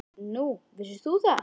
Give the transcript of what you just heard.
Nú, vissir þú það?